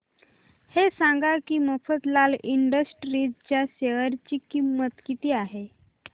हे सांगा की मफतलाल इंडस्ट्रीज च्या शेअर ची किंमत किती आहे